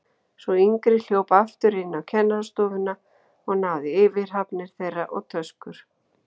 Sú yngri hljóp aftur inn á kennarastofuna og náði í yfirhafnir þeirra og töskur.